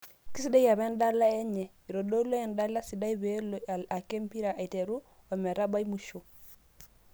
Kesiadai apa endala wnyw, itodolutua endala sidai peelo ake empira aitero ometabai musho.